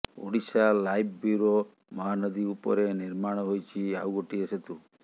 Odisha live bureau Mahanadi ଉପରେ ନିର୍ମାଣ ହୋଇଛି ଆଉ ଗୋଟିଏ ସେତୁ